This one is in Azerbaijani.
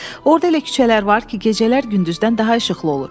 Orda elə küçələr var ki, gecələr gündüzdən daha işıqlı olur.